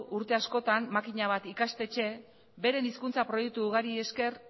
urte askotan makina bat ikastetxe beren hizkuntza proiektu ugariei esker